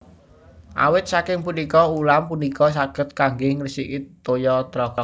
Awit saking punika ulam punika saged kanggé ngresiki toya tlaga